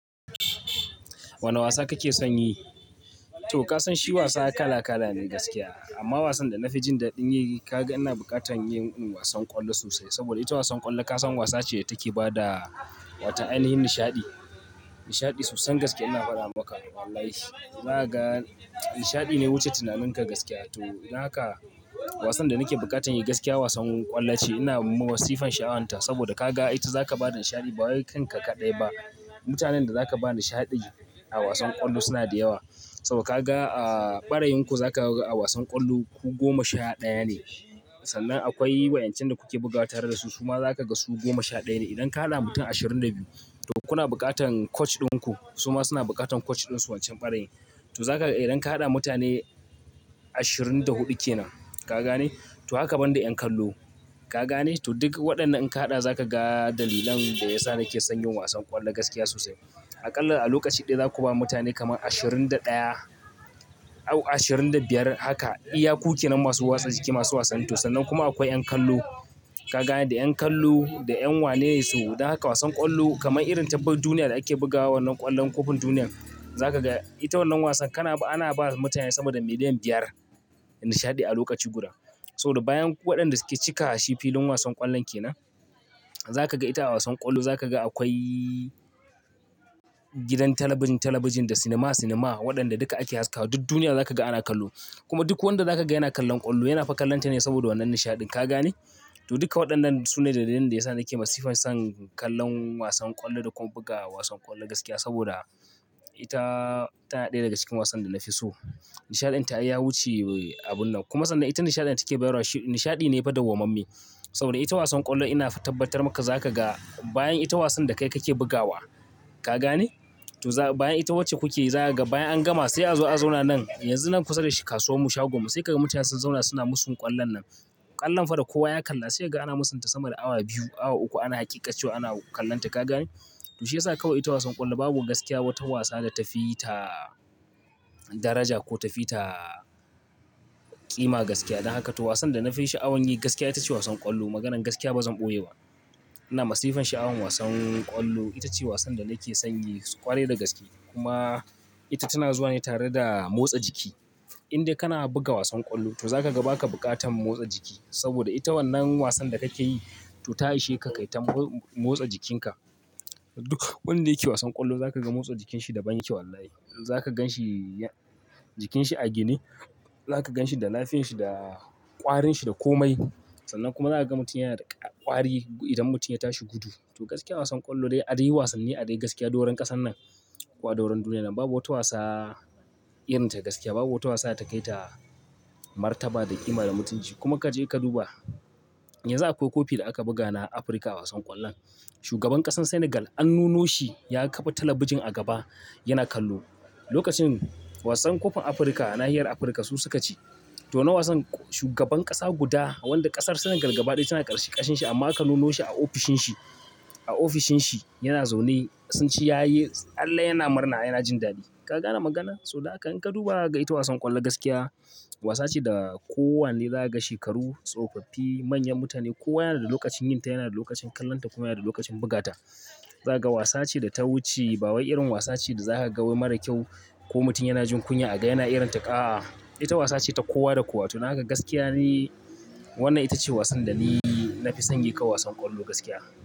Wane wasa kake son yi? To ka san shi wasa kala kala ne gaskiya. Amma wasan da na fi jin daɗin yi kaga ina buƙatan yin wasan ƙwallo sosai. Saboda ita wasan ƙwallo ka san wasa ce take ba da wata ainihin nishaɗi. Nishaɗi sosai gaskiya ina faɗa maka wallahi. Na ga nishaɗi na wuce tunaninka gaskiya. To don haka wasan da nake buƙatan yi gaskiya wasan ƙwallo ce. Ina ma masifan sha'awanta. Saboda ka ga ita zaka ba da nishaɗi ba kai kanka kaɗai ba. Mutanen da za ka ba nishaɗi a wasan ƙwallo suna da yawa. Saboda ka ga a barayin ku zaka ga a wasan ƙwallo ku goma sha ɗaya ne. Sannan akwai wa'yancin da kuke bugawa tare da su. Su ma za ka ga su goma sha ɗaya ne. Idan ka haɗa mutum ashirin da biyu to kuna buƙatan coach ɗinku. Su ma suna buƙatan coach ɗinsu wancan barayin. To zaka ga idan ka haɗa mutane ashirin da huɗu ke nan, ka gane? To haka banda yan kallo. Ka gane? To duk waɗannan in ka haɗa za ka ga dalilan da yasa nake son yin wasan ƙwallo gaskiya sosai. Aƙalla a lokaci ɗaya za ku ba mutane kamar ashirin da ɗaya, ko ashirin da biyar haka. Iya ku ke nan masu motsa jiki, masu wasan to sanan kuma akwai yan kallo. Kaga? Da yan kallo, da yan wane. So, don haka wasan ƙwallo kamar irin ta duk duniya da ake bugawa wannan ƙwallon kofin duniya. Za ka ga ita wannan wasan kana ba, ana ba mutane sama da miliyan biyar nishaɗi a lokaci guda. Saboda bayan waɗanda suke cika shi filin wasan ƙwallon ke nan, za ka ga ita a wasan ƙwallo za ka ga akwai gidan talabijin, talabijin da cinema, cinema waɗanda duka ake haskawa. Duk duniya za ka ga ana kallo. Kuma duk wanda za ka ga yana kallon ƙwallo yana fa kallonta ne saboda wannan nishaɗin. Ka gane? To duka waɗannan su ne dalilan da yasa nake masifan son kallon wasan ƙwallo da kuma buga wasan ƙwallo gaskiya. Saboda ita tana ɗaya daga cikin wasan da na fi so. Nishaɗin ta ya wuce abun nan. Kuma sannan ita nishaɗin da take bayarwa nishaɗi ne faɗa gwamammi. Saboda ita wasan ƙwallo ina fa tabbatar maka za ka ga bayan ita wasan da kai kake bugawa. Ka gane? To za bayan ita wacce kuke yi za ka ga bayan an gama sai a zo a zauna nan. Yanzu nan kusa da kasuwar mu shagon mu sai ka ga mutane sun zauna suna musun ƙwallon nan. Ƙwallon fa da kowa ya kalla sai ka ga ana musunta sama da awa biyu, awa uku ana hakikancewa ana kallonta. Ka gane? To shi ya sa kawai ita wasan ƙwallo babu gaskiya wata wasa da ta fi ta daraja ko ta fi ta ƙima gaskiya. Don haka to wasan da na fi sha'awan yi gaskiya ita ce wasan ƙwallo. Maganan gaskiya bazan ƙoye ba. Ina masifan sha'awan wasan ƙwallo. Ita ce wasan da nake son yi ƙwarai da gaske. Kuma ita tana zuwa ne tare da motsa jiki. Inde kana buga wasan ƙwallo to za ka ga ba ka buƙatan motsa jiki. Saboda ita wannan wasan da ka ke yi to ta ishe ka kai ta motsa jikinka. Duk wanda yake wasan ƙwallo za ka ga motsa jikinshi da ban yake wallahi. Za ka gan shi jikinsa a gine. Za ka gan shi da lafiyanshi, da ƙwarinshi, da komai. Sannan kuma za ka ga mutum yana da ƙwari idan mutum ya tashi gudu. To gaskiya wasan ƙwallo dai a dai wasanni, a dai gaskiya doron ƙasan nan ko a doron duniya babu wata wasa irin ta gaskiya. Babu wata wasa da ta kai ta martaba da ƙima da mutunci. Kuma ka je ka duba, yanzu akwai kofi da aka buga na Afirka wasan ƙwallon. Shugaban ƙasar Senegal an nuno shi ya kafa talabijin a gaba yana kallo. Lokacin wasan kofin Afirka na nahiyar Afirka su suka ci. To wannan wasan shugaban ƙasa guda wanda ƙasar Senegal gaba ɗaya tana ƙar ƙarshin shi amman aka nuno shi a ofishin shi. A ofishin shi yana zaune sun ci yayi tsalle yana murna yana jin daɗi. Ka gane magana? So don haka in ka duba ka ga ita wasan ƙwallo gaskiya wasa ce da kowane za ka ga shekaru, tsofaffi, manyan mutane kowa yana da lokacin yin ta, yana da lokacin kallonta kuma yana da lokacin bugata. Za ka ga wasa ce da ta wuce ba wai irin wasa ce da za ka ga wai mara kyau ko mutum yana jin kunya. A ga yana irin ta, ah. Ita wasa ce ta kowa da kowa. To dan haka gaskiya ni wannan ita ce wasan da ni na fi son yi kawai wasan ƙwallo gaskiya.